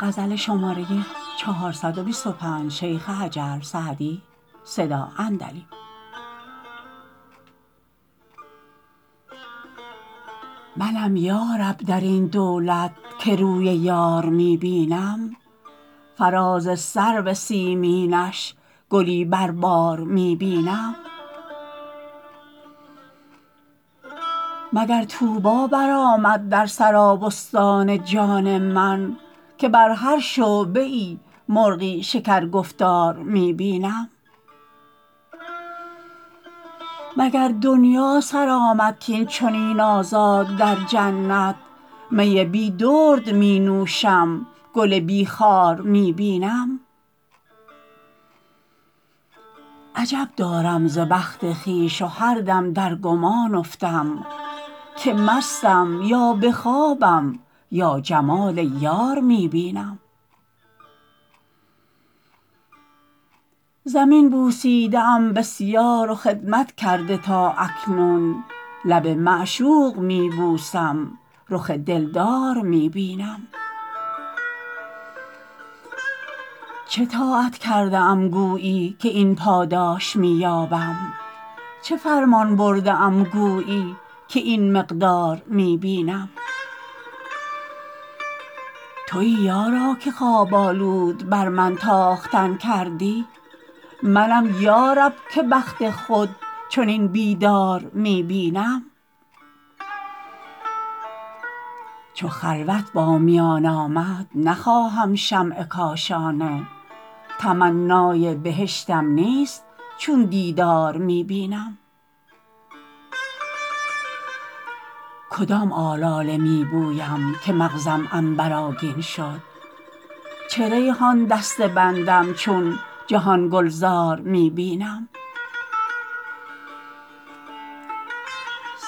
منم یا رب در این دولت که روی یار می بینم فراز سرو سیمینش گلی بر بار می بینم مگر طوبی برآمد در سرابستان جان من که بر هر شعبه ای مرغی شکرگفتار می بینم مگر دنیا سر آمد کاین چنین آزاد در جنت می بی درد می نوشم گل بی خار می بینم عجب دارم ز بخت خویش و هر دم در گمان افتم که مستم یا به خوابم یا جمال یار می بینم زمین بوسیده ام بسیار و خدمت کرده تا اکنون لب معشوق می بوسم رخ دلدار می بینم چه طاعت کرده ام گویی که این پاداش می یابم چه فرمان برده ام گویی که این مقدار می بینم تویی یارا که خواب آلود بر من تاختن کردی منم یا رب که بخت خود چنین بیدار می بینم چو خلوت با میان آمد نخواهم شمع کاشانه تمنای بهشتم نیست چون دیدار می بینم کدام آلاله می بویم که مغزم عنبرآگین شد چه ریحان دسته بندم چون جهان گلزار می بینم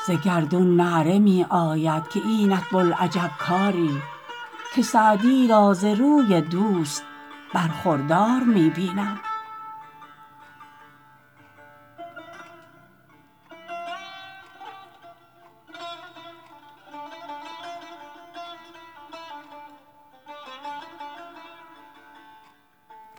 ز گردون نعره می آید که اینت بوالعجب کاری که سعدی را ز روی دوست برخوردار می بینم